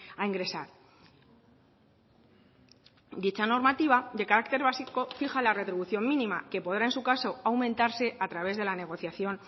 a ingresar dicha normativa de carácter básico fija la retribución mínima que podrá en su caso aumentarse a través de la negociación